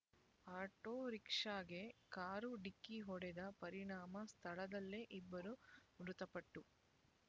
auto ರಿಕ್ಷಾಗೆ car ಡಿಕ್ಕಿ ಹೊಡೆದ ಪರಿಣಾಮ ಸ್ಥಳದಲ್ಲೇ ಇಬ್ಬರು ಮೃತಪಟ್ಟು